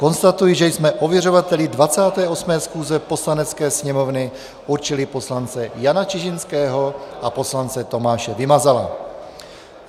Konstatuji, že jsme ověřovateli 28. schůze Poslanecké sněmovny určili poslance Jana Čižinského a poslance Tomáše Vymazala.